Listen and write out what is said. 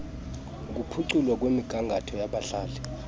ukuphuculwa kwemigangatho yabadlali